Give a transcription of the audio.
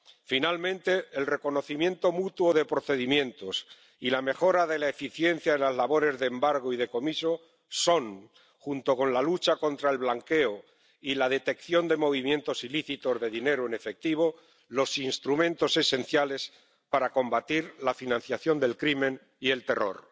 Finalmente, el reconocimiento mutuo de procedimientos y la mejora de la eficiencia en las labores de embargo y decomiso son, junto con la lucha contra el blanqueo y la detección de movimientos ilícitos de dinero en efectivo, los instrumentos esenciales para combatir la financiación del crimen y el terror.